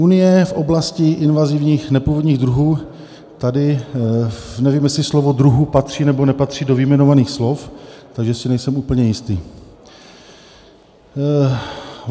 Unie v oblasti invazivních nepůvodních druhů - tady nevím, jestli slovo "druhu" patří, nebo nepatří do vyjmenovaných slov, takže si nejsem úplně jistý.